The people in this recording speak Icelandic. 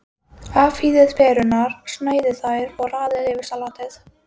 Afhýðið perurnar, sneiðið þær og raðið yfir salatið.